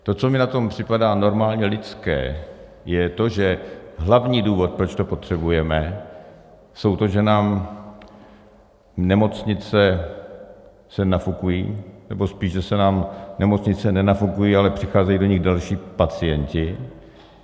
To, co mi na tom připadá normálně lidské, je to, že hlavní důvod, proč to potřebujeme, je to, že nám nemocnice se nafukují, nebo spíš že se nám nemocnice nenafukují, ale přicházejí do nich další pacienti.